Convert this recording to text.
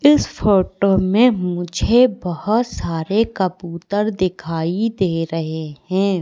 इस फोटो में मुझे बहुत सारे कबूतर दिखाई दे रहे हैं।